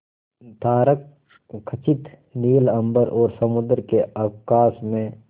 तारकखचित नील अंबर और समुद्र के अवकाश में